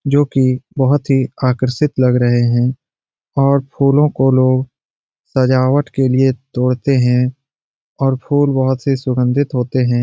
जो कि बहुत ही आकर्षित लग रहे है और फूलों को लोग सजावट के लिए तोड़ते हैं और फूल बहुत ही सुगंधित होते हैं।